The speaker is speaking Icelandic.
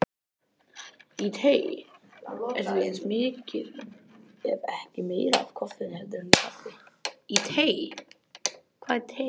Í tei er því eins mikið ef ekki meira af koffeini heldur en í kaffi.